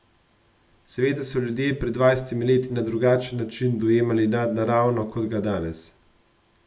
Seveda so ljudje pred dvajsetimi leti na drugačen način dojemali nadnaravno kot ga danes.